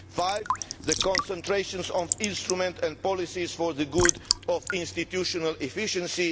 five, concentrations of instruments and policies for the good of institutional efficiency